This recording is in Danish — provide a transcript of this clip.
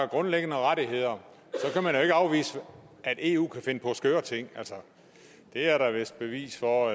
grundlæggende rettigheder kan man jo ikke afvise at eu kan finde på skøre ting altså det er der vist bevis for